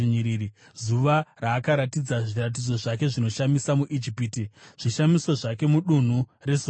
zuva raakaratidza zviratidzo zvake zvinoshamisa muIjipiti, zvishamiso zvake mudunhu reZoani.